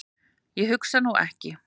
Ég hugsa nú ekki.